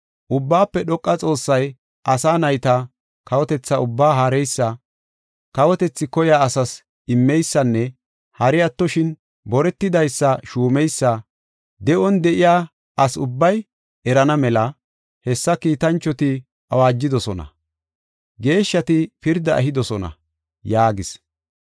Ubbaafe Dhoqa Xoossay asa nayta kawotetha ubbaa haareysa, kawotethi koyiya asas immeysanne hari attoshin boretidaysa shuumeysa de7on de7iya asi ubbay erana mela, hessa kiitanchoti awaajidosona; geeshshati pirdaa ehidosona’ ” yaagis.